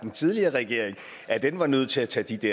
den tidligere regering at den var nødt til at tage de